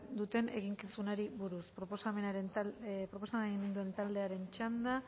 duten eginkizunari buruz eztabaida eta behin betiko ebazpena proposamena egin duen taldearen txanda